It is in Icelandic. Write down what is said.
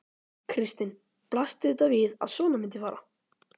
Kristinn: Blasti þetta við að svona myndi fara?